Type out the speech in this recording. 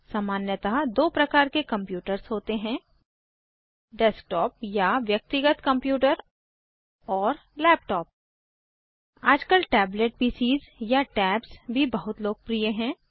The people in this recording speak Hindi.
सामान्यतः दो प्रकार के कम्प्यूटर्स होते हैं डेस्कटॉप या व्यक्तिगत कंप्यूटर और लैपटॉप आजकल टैबलेट पीसीएस या टैब्स भी बहुत लोकप्रिय हैं